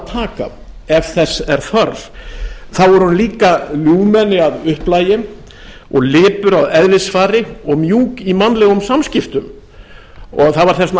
taka ef þess er þörf þá er hún líka ljúfmenni að upplagi og lipur að eðlisfari og mjúk í mannlegum samskiptum það var þess vegna